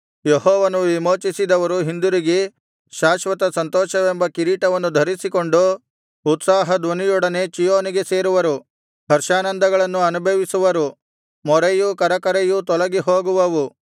ಯೆಹೋವನು ವಿಮೋಚಿಸಿದವರು ಹಿಂದಿರುಗಿ ಶಾಶ್ವತ ಸಂತೋಷವೆಂಬ ಕಿರೀಟವನ್ನು ಧರಿಸಿಕೊಂಡು ಉತ್ಸಾಹಧ್ವನಿಯೊಡನೆ ಚೀಯೋನಿಗೆ ಸೇರುವರು ಹರ್ಷಾನಂದಗಳನ್ನು ಅನುಭವಿಸುವರು ಮೊರೆಯೂ ಕರಕರೆಯೂ ತೊಲಗಿಹೋಗುವವು